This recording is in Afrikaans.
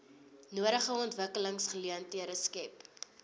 nodige ontwikkelingsgeleenthede skep